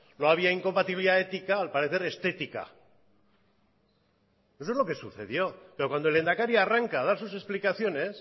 no había incompatibilidad ética al parecer estética eso fue lo que sucedió pero cuando el lehendakari arranca a dar sus explicaciones